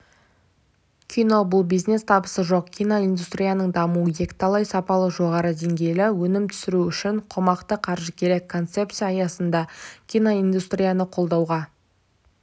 кино бұл бизнес табысы жоқ киноиндустрияның дамуы екіталай сапалы жоғары деңгейлі өнім түсіру үшін қомақты қаржы керек концепция аясында киноиндустрияны қолдауға